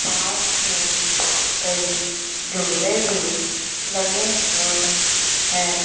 Park में कई झूले भी लगे हुए है।